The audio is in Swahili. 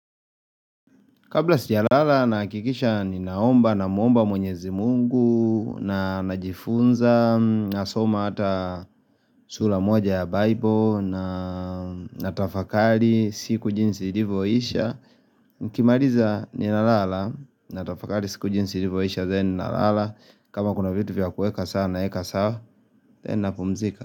Kabla sijalala nahakikisha ninaomba na muomba mwenyezi Mungu na najifunza nasoma hata sura moja ya Bible na natafakari siku jinsi ilivyoisha. Mkimaliza, ninalala natafakari siku jinsi ilivyoisha then nalala. Kama kuna vitu vya kuweka sawa naweka sawa then napumzika.